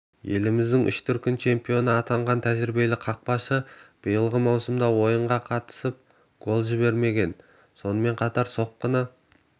еліміздің үш дүркін чемпионы атанған тәжірибелі қақпашы биылғы маусымда ойынға қатысып гол жіберген сонымен қатар соққыны